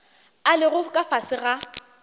a lego ka fase ga